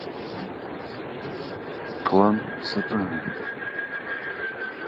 клан сопрано